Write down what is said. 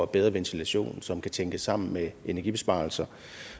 bedre ventilation som kan tænkes sammen med energibesparelser